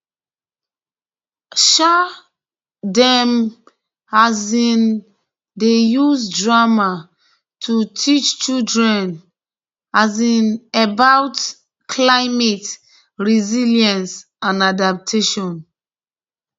um dem um dey use drama to teach children um about climate resilience and adaptation